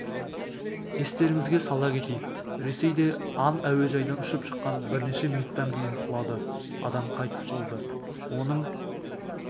естеріңізге сала кетейік ресейде ан әуежайдан ұшып шығып бірнеше минуттан кейін құлады адам қайтыс болды оның